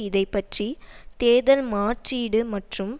இதை பற்றி தேர்தல் மாற்றீடு மற்றும்